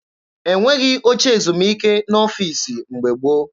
E nweghị oche ezumike n'ọfiisi mgbe gboo.